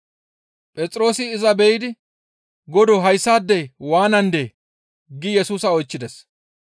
Phexroosi iza be7idi, «Godoo! Hayssaadey waanandee?» giidi Yesusa oychchides.